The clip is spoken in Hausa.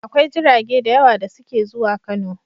Akwai jirage da yawa da suke zuwa Kano.